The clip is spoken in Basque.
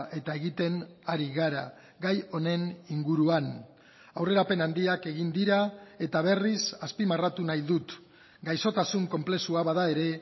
eta egiten ari gara gai honen inguruan aurrerapen handiak egin dira eta berriz azpimarratu nahi dut gaixotasun konplexua bada ere